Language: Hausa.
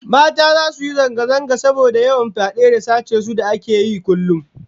Mata zasu yi zanga-zanga saboda yawan fyade da sace su da ake yawan yi kullum